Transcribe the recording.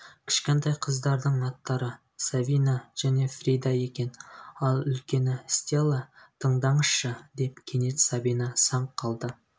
кішкентай қыздардың аттары сабина және фрида екен ал үлкені стелла тыңдаңызшы деп кенет сабина саңқ қалды